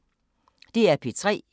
DR P3